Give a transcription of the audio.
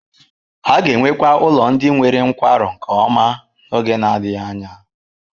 A ga-enwekwa ụlọ ndị nwere nkwarụ nke ọma n'oge na-adịghị anya.